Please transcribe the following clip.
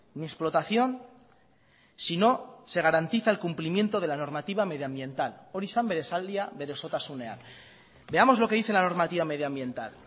ni explotación si no se garantiza el cumplimiento de la normativa medioambiental hori zen bere esaldia bere osotasunean veamos lo que dice la normativa medioambiental